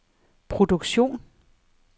produktion